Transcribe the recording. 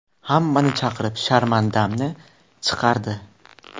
Hammani chaqirib, sharmandamni chiqardi.